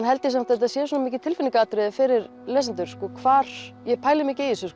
held að þetta sé svo mikið fyrir lesendur sko hvar ég pæli mikið í þessu